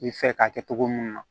I fɛ k'a kɛ cogo mun na